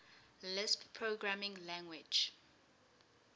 lisp programming language